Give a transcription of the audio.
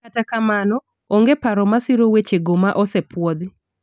kata kamano, onge paro masiro wechego ma osepuodhi